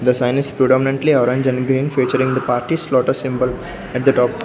the sign is predominantly orange and green featuring the parties lotus symbol at the top.